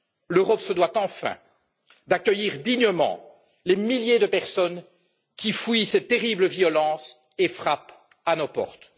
L'Europe se doit enfin d'accueillir dignement les milliers de personnes qui fuient ces terribles violences et frappent à nos portes.